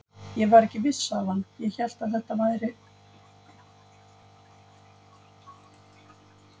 Ég var ekki viss, sagði hann, ég hélt kannski að þær væru handa þér.